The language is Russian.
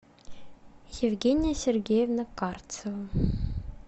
евгения сергеевна карцева